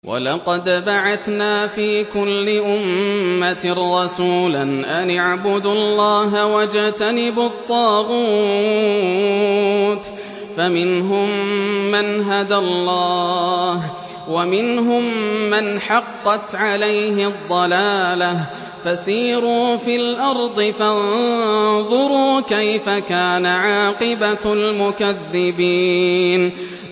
وَلَقَدْ بَعَثْنَا فِي كُلِّ أُمَّةٍ رَّسُولًا أَنِ اعْبُدُوا اللَّهَ وَاجْتَنِبُوا الطَّاغُوتَ ۖ فَمِنْهُم مَّنْ هَدَى اللَّهُ وَمِنْهُم مَّنْ حَقَّتْ عَلَيْهِ الضَّلَالَةُ ۚ فَسِيرُوا فِي الْأَرْضِ فَانظُرُوا كَيْفَ كَانَ عَاقِبَةُ الْمُكَذِّبِينَ